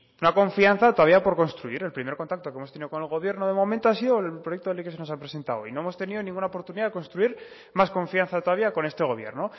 una confianza todavía por construir el primer contacto que hemos tenido con el gobierno de momento ha sido el proyecto de ley que se nos ha presentado hoy no hemos tenido ninguna oportunidad de construir más confianza todavía con este gobierno